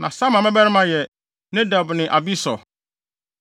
Na Abisur ne ne yere Abihail mmabarima yɛ Ahban ne Molid.